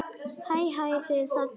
Hæ, hæ þið þarna úti.